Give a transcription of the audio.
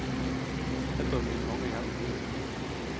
Et av mine mange hjem i byen.